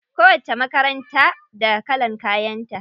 Kowacce makaranta da kalan kayan ta.